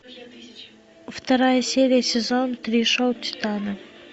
вторая серия сезон три шоу титана